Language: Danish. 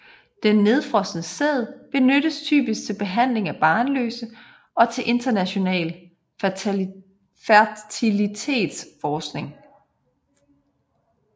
Den nedfrosne sæd benyttes typisk til behandling af barnløse og til international fertilitetsforskning